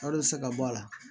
Wari tɛ se ka bɔ a la